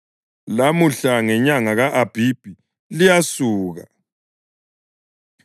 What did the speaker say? Lamuhla ngenyanga ka-Abhibhi, liyasuka.